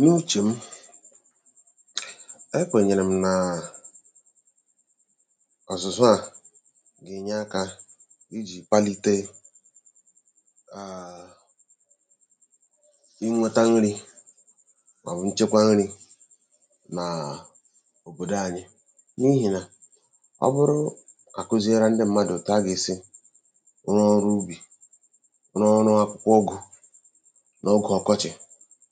N’uchè m ekwènyèrè m̀ nàà ọ̀zụ̀zụ à gènye akā ijì kpalite nnweta nrī mọ̀bụ̀ nchekwa nrī nàà n’òbòdò anyị n’ihì nà ọ bụrụ àkụziere ndị mmadụ̀ ètù a gà-èsi rụọ ọrụ ubì, rụọ ọrụ ụgụ̄ n’ogè ọkọchị̀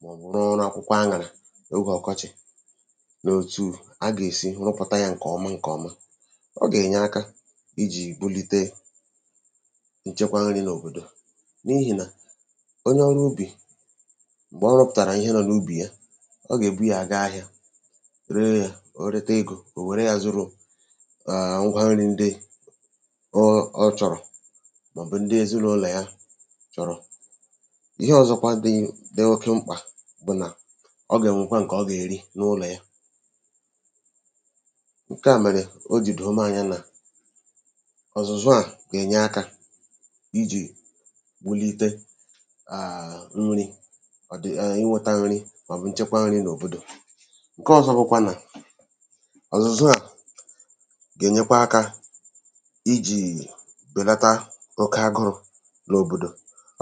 mọ̀bụ̀ rụọ ọrụ akwụkwọ aṅàrà n’ogè ọkọchì nò òtù a gà-èsi rụpụ̀ta yā ǹkọ̀ọma ǹkọ̀ọma, ọ gènye akā ijì bulite nchekwa nrī n’òbòdò n’ihìnà onye ọrụ ubì m̀gbè ọ rụ̄pụ̀tàrà ihe nọ̄ n’ubì ya ọ gèbu yā gaa ahịā ̄, ree yā o reta egō, ò wère yā zụrụ ngwa nrī ndị ọ chọ̀rọ̀ mọ̀bụ̀ ndị èzinụlò ya chọ̀rọ̀ ihe ọ̀zọkwa dị oke mkpà bụ̀ nà ọ gènwekwa ǹkọ̀ ọ gèri n’ụlọ̀ ya ǹka à mèrè o jì dòo m̄ anya nà ọ̀zụ̀zụ à gènye akā ijì wulite nrī, inwētā nri mọ̀bụ̀ nchekwa nrī n’òbòdò. Ǹkọ ọzọ bụkwa nà ọ̀zụ̀zụ à gènyekwa akā ijìì bèlata oke agụrụ̄ n’òbòdò,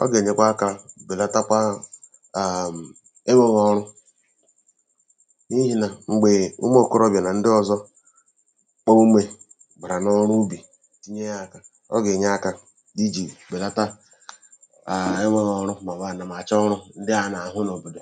ọ gènyekwa akā bèlatakwa enwēghọ̄ ọrụ n’ihìnà m̀gbè ụmụ̀ òkorobịà nà ndọ ọzọ òmùmè bàrà n’ọrụ ubì tinye yā aka o gènye akā ijì bèlata enwēghọ̄ ọrụ mọ̀bụ̀ ànàmàchọọrụ̄ ndị à a nàhụ n’òbòdò